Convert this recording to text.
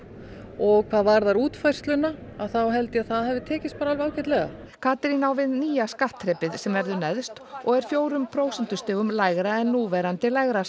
og hvað varðar útfærsluna að þá held ég að það hafi bara tekist alveg ágætlega Katrín á við nýja skattþrepið sem verður neðst og er fjórum prósentustigum lægra en núverandi lægra